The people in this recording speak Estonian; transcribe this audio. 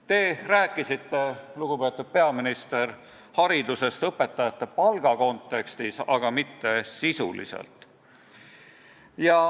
Te küll rääkisite, lugupeetud peaminister, haridusest õpetajate palga kontekstis, aga mitte sisuliselt.